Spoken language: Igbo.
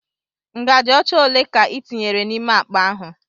Ngaji ocha ole ka i tinyere n'ime akpa ahụ?